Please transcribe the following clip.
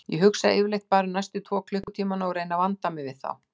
Ég hugsa yfirleitt bara um næstu tvo klukkutímana og reyni að vanda mig við þá.